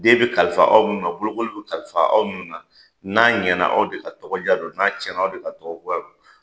Den be kalifa aw minnu na bolokoli be kalifa aw ninnu na n'a ɲɛna aw de ka tɔgɔ ja do n'a cɛna aw de ka tɔgɔ goya do